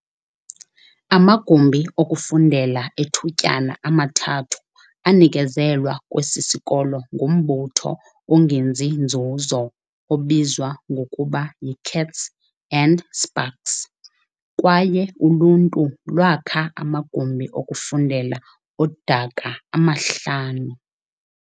Amagumbi okufundela ethutyana amathathu anikezelwa kwesi sikolo ngumbutho ongenzi nzuzo obizwa ngokuba yi-Kats and Spaks, kwaye uluntu lwakha amagumbi okufundela odaka amahlanu.